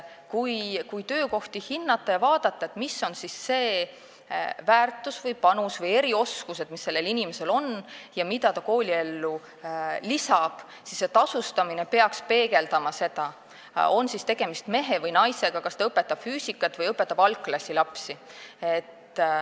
Kui töökohti hinnata ja vaadata, mis on siis see väärtus või panus või millised on erioskused, mis sellel inimesel on ja mida ta kooliellu lisab, siis selgub, et tasustamine peaks seda peegeldama, on siis tegemist mehe või naisega ja õpetab ta füüsikat või algklassilapsi.